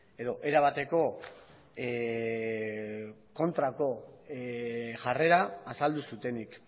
edo erabateko kontrako jarrera azaldu zutenik